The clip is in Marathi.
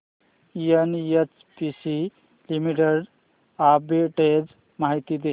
एनएचपीसी लिमिटेड आर्बिट्रेज माहिती दे